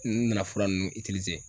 N nana fura nunnu itlize